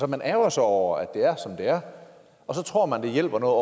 man ærgrer sig over at det er som det er og så tror man det hjælper noget